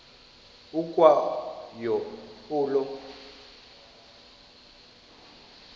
ukwa yo olo